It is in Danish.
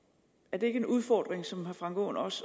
ikke en udfordring som herre frank aaen og